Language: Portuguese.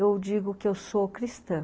eu digo que eu sou cristã.